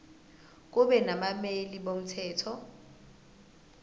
kube nabameli bomthetho